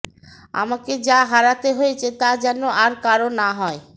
আমাকে যা হারাতে হয়েছে তা যেন আর কারও না হয়